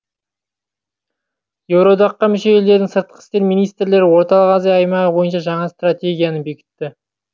еуроодаққа мүше елдердің сыртқы істер министрлері орталық азия аймағы бойынша жаңа стратегияны бекітті